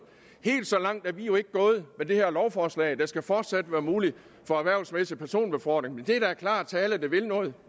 helt så langt er vi jo ikke gået med det her lovforslag der skal fortsat være mulighed for erhvervsmæssig personbefordring men det er klar tale der vil noget